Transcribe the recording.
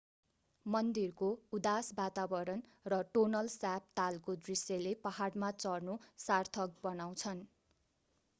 मन्दिरको उदास वातावरण र टोनल स्याप तालको दृश्यले पहाडमा चढ्नु सार्थक बनाउँछन्